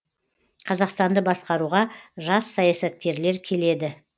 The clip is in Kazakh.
қазақстанды басқаруға жас саясаткерлер келеді